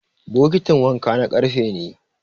bokitin wanka na karfe ne